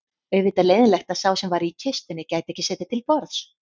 Auðvitað leiðinlegt að sá sem var í kistunni gæti ekki setið til borðs